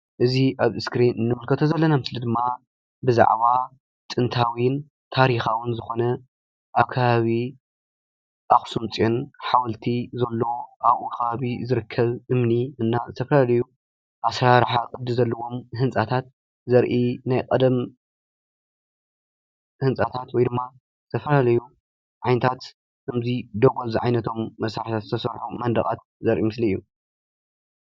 እዚ ኣብ እስክሪን እንምልከቶ ዘለና ምስሊ ድማ ብዛዕባ ጥንታዊን ታርካዊን ዝኮነ ኣብ ከባቢ ኣክሱም ፅዮን ሓወልቲ ዘሎ ኣብኡ ከባቢ ዝርከብ እምኒ እና ዝተፋላለዩ ኣሰራርሓ ቅዱ ዘለዎም ንህንፃታት ዘርኢ ናይ ቀደም ህንፃታት ወይድማ ዝተፈላለዩ ዓይነታት ከመዚ ደጐል ዝዓይነቶም መሳርሐታት ዝተሰርሑ መነደቃት ዘርኢ ምስሊ አዩ።